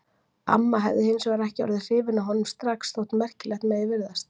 Amma hefði hins vegar ekki orðið hrifin af honum strax, Þótt merkilegt megi virðast